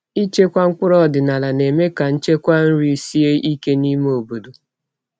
Ịchekwa mkpụrụ ọdịnala na-eme ka nchekwa nri sie ike n’ime obodo.